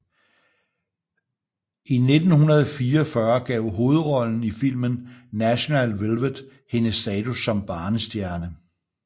I 1944 gav hovedrollen i filmen National Velvet hende status som barnestjerne